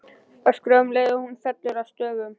Öskra um leið og hún fellur að stöfum.